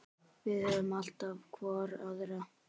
Við höfum alltaf hvor aðra.